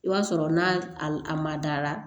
I b'a sɔrɔ n'a a ma da la